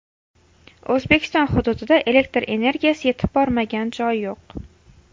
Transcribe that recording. O‘zbekiston hududida elektr energiyasi yetib bormagan joy yo‘q.